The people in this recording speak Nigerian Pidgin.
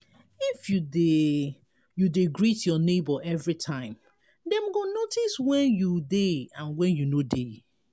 if you de you de greet your neighbour everytime dem go notice when you de and when you no de